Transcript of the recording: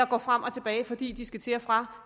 går frem og tilbage fordi de skal til og fra